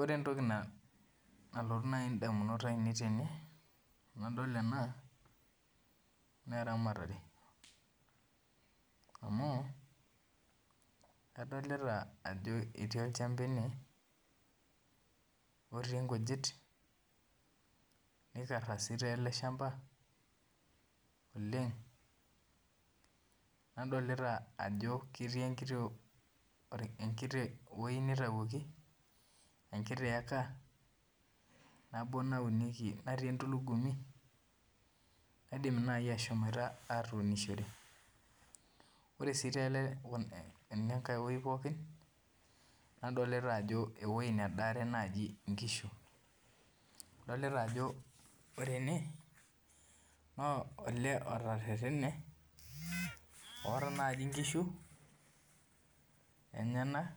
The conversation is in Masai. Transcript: Ore entoki nalotu indamunot aainei tenadol ena naa eramatare amu adolita ajo ketii olchamba ene otii inkujit neikara sii ele shamba oleng nadolita ajo ketii enkiti eka natii emtulugumi naidim naaji ashom atunishore ore sii enatakae nadolita ajo ewueji nadaare inkishu adolita ajo ore ene naa olee otererene oota naaji inkishu enyanak